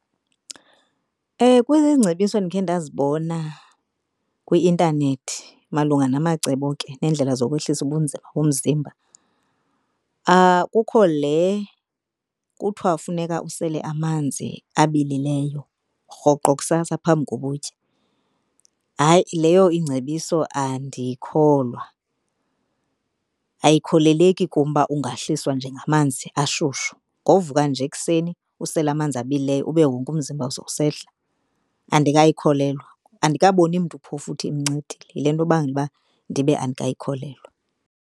Kwiingcebiso endikhe ndazibona kwi-intanethi malunga namacebo ke nendlela zokwehlisa ubunzima bomzimba. Kukho le kuthiwa funeka usele amanzi abilileyo rhoqo kusasa phambi koba utye. Hayi, leyo ingcebiso andiyikholwa, ayikholeleki kum ba ungahliswa nje ngamanzi ashushu. Ngovuka nje ekuseni usele amanzi abilileyo ube wonke umzimba sowusehla, andikayikholelwa. Andikaboni mntu phofu uthi imncedile yilento ibanga uba ndibe andikayikholelwa.